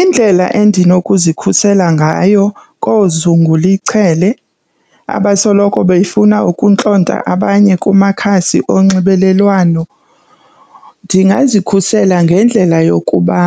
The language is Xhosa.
Indlela endinokuzikhusela ngayo koozungula ichele abasoloko befuna ukuntlonta abanye kumakhasi onxibelelwano ndingazikhusela ngendlela yokuba